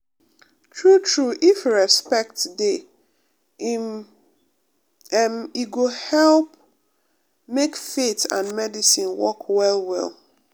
true true if respect dey em e go help make faith and medicine work well well.